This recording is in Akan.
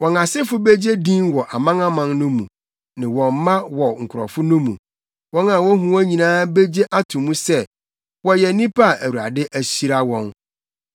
Wɔn asefo begye din wɔ amanaman no mu ne wɔn mma wɔ nkurɔfo no mu. Wɔn a wohu wɔn nyinaa begye ato mu sɛ wɔyɛ nnipa a Awurade ahyira wɔn.”